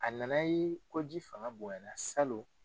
A nana ye ko ji fanga bonyara salon